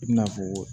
I bina fɔ